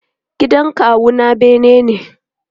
Gidan kawu na bene ne.